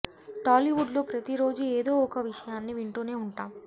టాలీవుడ్లో ప్రతి రోజు ఏదో ఒక కొత్త విషయాన్ని వింటూనే ఉంటాం